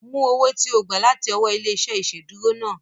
Mú owó ti o gba láti ọwọ́ ilé-iṣẹ́ ìsedúró náà